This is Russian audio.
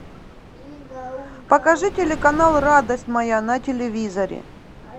покажи телеканал радость моя на телевизоре